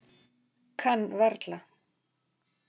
Kann varla.